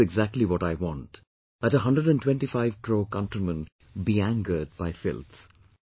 This is exactly what I want that 125 crore countrymen be angered by filth